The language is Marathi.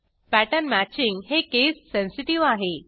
पॅटर्न मॅचिंग हे केस सेन्सेटिव्ह आहे